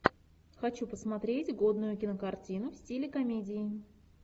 хочу посмотреть годную кинокартину в стиле комедии